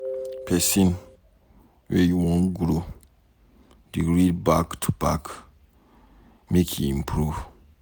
Pesin wey wan grow go dey read back to back, make e improve.